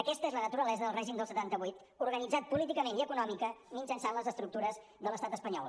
aquesta és la naturalesa del règim del setanta vuit organitzat políticament i econòmicament mitjançant les estructures de l’estat espanyol